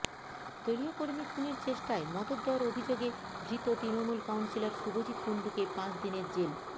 দলীয় কর্মী খুনের চেষ্টায় মদত দেওয়ার অভিযোগে ধৃত তৃণমূল কাউন্সিলর শুভজিৎ কুণ্ডুকে পাঁচ দিনের জেল